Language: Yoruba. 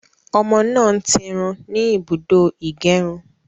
Ọmọ náà ń tirun ní ibùdó ìgérun